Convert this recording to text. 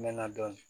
N mɛɛnna dɔɔnin